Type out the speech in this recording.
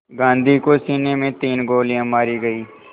गांधी को सीने में तीन गोलियां मारी गईं